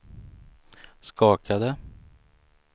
skakade